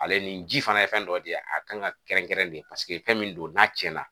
Ale nin ji fana ye fɛn dɔ ye de a kan ka kɛrɛnkɛrɛn de paseke fɛn min don n'a cɛnna.